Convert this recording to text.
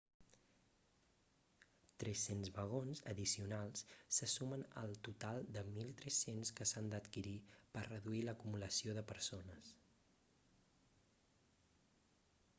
300 vagons addicionals se sumen al total de 1.300 que s'han d'adquirir per reduir l'acumulació de persones